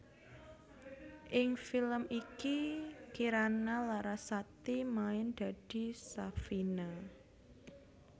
Ing film iki Kirana Larasati main dadi Safina